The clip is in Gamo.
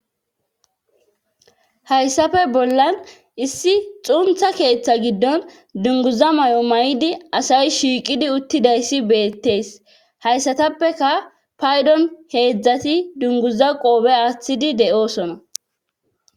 hayssafe bollan issi xuntha keeththa giddon dunguza may7o may7idi asay shiiqidi uttidayssi beettees hayssatappeka paydon heedzdzati dunguza qoobe aaththidi de7oosona